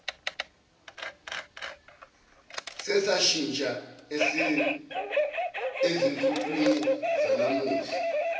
sesashintsha ezinsukwini zanamuhla